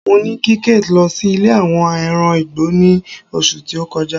mo ni kí kate lo sí ilè àwọn ẹran igbó ni oṣù ti o kọjá